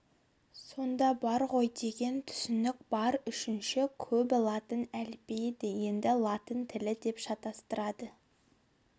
сонда бар ғой деген түсінік бар үшінші көбі латын әліпбиі дегенді латын тілі деп шатыстырады